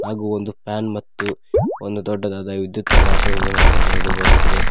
ಹಾಗು ಒಂದು ಫ್ಯಾನ್ ಮತ್ತು ಒಂದು ದೊಡ್ಡದಾದ ವಿದ್ಯುತ್ ಅನ್ನ ಹಾಕಿರುದು ನಮಗೆ ತಿಳಿದು ಬರುತ್ತದೆ.